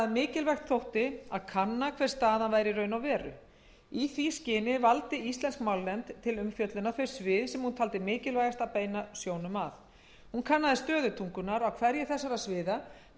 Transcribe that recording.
mikilvægt þótti að kanna hver staðan væri í raun og veru í því skyni valdi íslensk málnefnd til umfjöllunar þau svið sem hún taldi mikilvægast að beina sjónum að hún kannaði stöðu tungunnar á hverju þessara sviða hverjar horfurnar væru ef ekkert yrði að